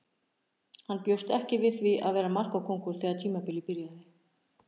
Hann bjóst ekki við því að vera markakóngur þegar tímabilið byrjaði.